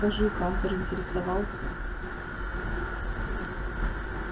скажи хантер интересовался